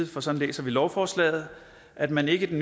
for sådan læser vi lovforslaget at man ikke